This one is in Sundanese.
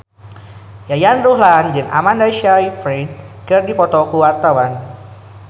Yayan Ruhlan jeung Amanda Sayfried keur dipoto ku wartawan